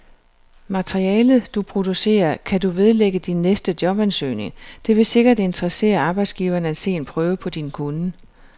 Materialet, du producerer, kan du vedlægge din næste jobansøgning, det vil sikkert interessere arbejdsgiveren at se en prøve på din kunnen.